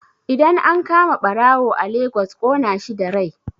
Idan an kama ɓarawo a Lagos ƙona shi da rai